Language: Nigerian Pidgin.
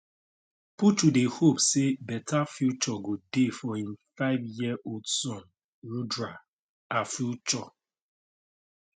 puchu dey hope say better future go dey for im fiveyearold son rudra a future